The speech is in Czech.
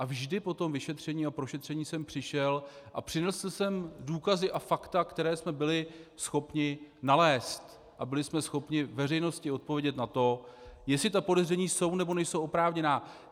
A vždy po tom vyšetření a prošetření jsem přišel a přinesl jsem důkazy a fakta, které jsme byli schopni nalézt, a byli jsme schopni veřejnosti odpovědět na to, jestli ta podezření jsou nebo nejsou oprávněná.